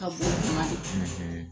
Ka bon o kuma de